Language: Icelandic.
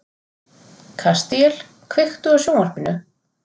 Kastíel, kveiktu á sjónvarpinu.